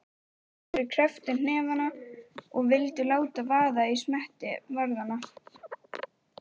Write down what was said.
Nokkrir krepptu hnefana og vildu láta vaða í smetti varðanna.